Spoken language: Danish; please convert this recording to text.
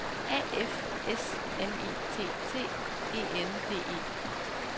A F S M I T T E N D E